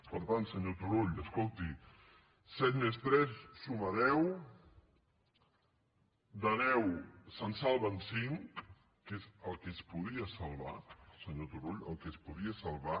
per tant senyor turull escolti set més tres suma deu de deu se’n salven cinc que és el que es podia salvar senyor turull el que es podia salvar